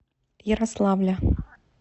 ярославля